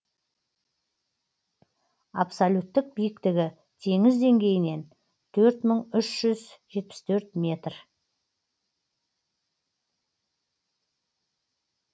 абсолюттік биіктігі теңіз деңгейінен төрт мың жетпіс төрт метр